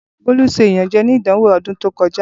Bolu ṣe iyanjẹ ni idanwo ni ọdun to kọja.